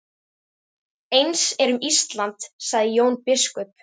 Eins er um Ísland, sagði Jón biskup.